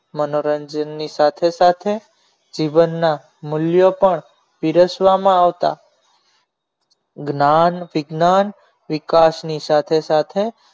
મનોરંજન ની સાથે સાથે જીવનના મૂલ્યો પણ પીરસવામાં આવતા જ્ઞાન વિજ્ઞાન વિકાસની સાથે સાથે